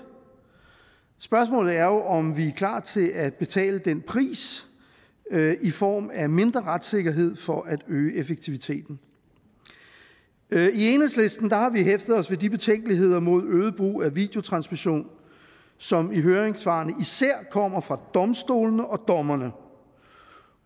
spørgsmålet er jo om vi er klar til at betale den pris i form af mindre retssikkerhed for at øge effektiviteten i enhedslisten har vi hæftet os ved de betænkeligheder ved øget brug af videotransmission som i høringssvarene især kommer fra domstolene og dommerne